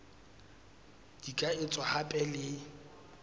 di ka etswa hape le